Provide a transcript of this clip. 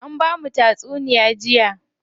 An bamu tatsunuya jiya.